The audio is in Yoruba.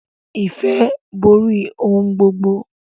Ìfẹ́ borí ohun gbogbo.